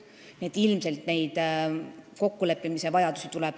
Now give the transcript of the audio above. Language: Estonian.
Nii et ilmselt kokkuleppimise vajadus kasvab.